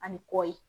Ani kɔ ye